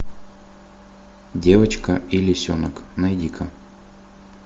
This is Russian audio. девочка и лисенок найди ка